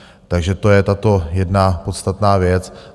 Takže to je tato jedna podstatná věc.